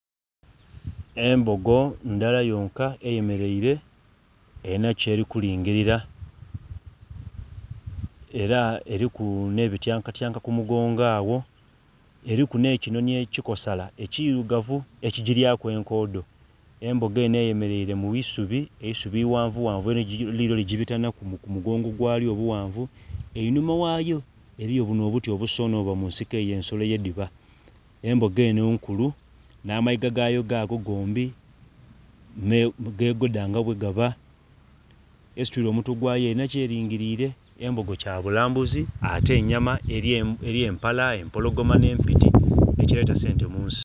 embogo ndhala yonka eyemeraire erina kyeli kulingilila eraeliku nebityankatyanka ku mugongo agho, eriku nhe kinhonhi ekikosala ekigiryaku enkoodho. Embogo enho eyemeraile mu isubi, eiusubi ighavughavu lilyo ligibitaku ku mugongo gwaayo obughanvu. Einhuma ghayoa eriyo bunho obuti obusonhe obuba munsiko eyo ensolo ydhiba embogo enho nkulu nha amayiga gaayo gaago gombi me gegodha nga ghegaba esituile omutwe gwaayo erinha kyeringirile. embogo kyabulambuzi ate nnyama eri empala empolgoma nhe mpiti ekileta sente mu nsi.